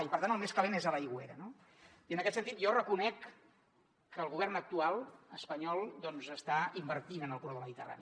i per tant el més calent és a l’aigüera no i en aquest sentit jo reconec que el govern actual espanyol doncs està invertint en el corredor mediterrani